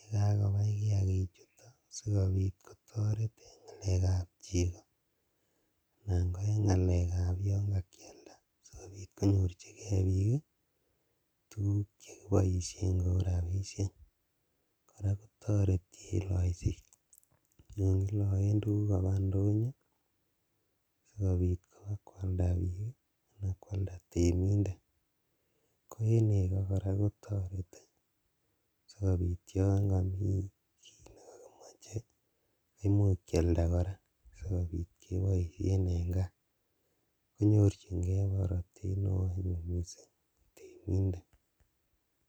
yekakobai kiakichuton sikobit kotoret en ngalekab chego anan koyon kakialda sikobit konyorjigee bik tuguk chekeboisien kou rabisiek, koraa kotoreti en loiset yon kiloen tuguk kabaa indonyo sikobit kobakwalda bik anan kwalda temindet, ko en nego koraa kotoreti sikobit yon komi kit nekokimiche kimuch kialda koraa sikobit keboisien en kaa konyorjigee borotet neo anyun temindet.